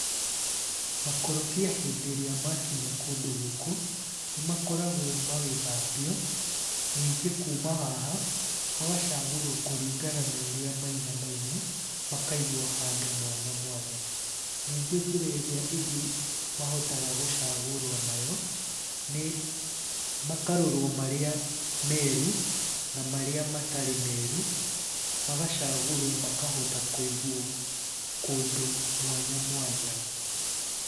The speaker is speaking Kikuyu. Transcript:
Makorobia hĩndĩ ĩrĩa makinya kũndũ gũkũ, nĩ makoragwo magĩthambio, ningĩ kuma haha, magacagũrwo kũringana na ũrĩa maiganaine, makaigwo handũ mwanya mwanya. Ningĩ njĩra ĩríĩ ĩngĩ mahotaga gũcagũrwo nayo nĩ makarorwo marĩa meeru na marĩa matarĩ meeru, magacagũrwo makahota kũigwo kũndũ mwanya mwanya.